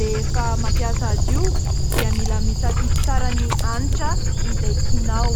rehefa mampiasa azy io dia mila misafidy tsara ny hanitra izay tianao.